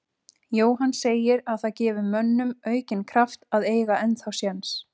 Jóhann segir að það gefi mönnum aukinn kraft að eiga ennþá séns.